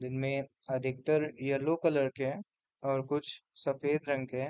जिनमे अधिकतर yellow colour के हैं और कुछ सफ़ेद रंग के हैं।